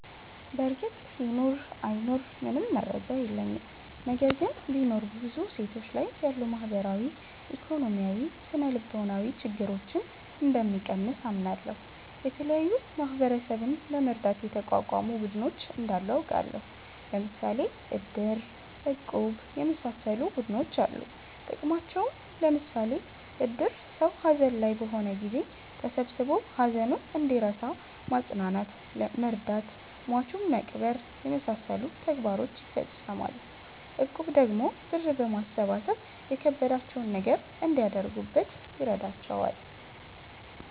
በርግጥ ይኑር አይኑር ምንም መረጃ የለኝም። ነገር ግን ቢኖር ብዙ ሴቶች ላይ ያሉ ማህበራዊ፣ ኢኮኖሚያዊ፣ ስነልቦናዊ ችግረኞን እንደሚቀንስ አምናለሁ። የተለያዩ ማህበረሰብን ለመርዳት የተቋቋሙ ቡድኖች እንዳሉ አቃለሁ። ለምሣሌ እድር፣ እቁብ የመሣሠሉ ቡድኖች አሉ ጥቅማቸውም ለምሳሌ እድር ሠው ሀዘን ላይ በሆነ ጊዜ ተሠብስቦ ሀዘኑን እንዲረሣ ማፅናናት መርዳት ሟቹን መቅበር የመሣሠሉ ተግባሮችን ይፈፅማል። እቁብ ደግሞ ብር በማሠባሠብ የከበዳቸውን ነገር እንዲያደርጉበት ይረዳቸዋል።